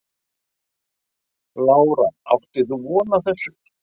Lára: Áttir þú von á þessu?